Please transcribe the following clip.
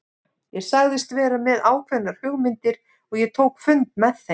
Ég sagðist vera með ákveðnar hugmyndir og ég tók fund með þeim.